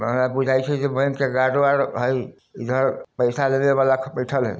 Bank के guard वार्ड है इधर पैसा लेने वाला बैठल हाय।